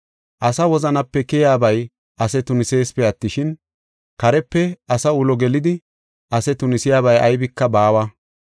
Asa wozanape keyaabay ase tuniseesipe attishin, karepe asa ulo gelidi ase tunisiyabay aybika baawa.